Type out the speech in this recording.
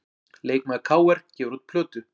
Leikmaður KR gefur út plötu